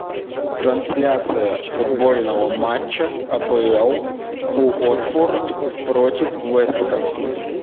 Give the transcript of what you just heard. трансляция футбольного матча апл уотфорд против вест хэм